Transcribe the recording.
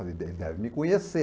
Eu falei, ele deve me conhecer.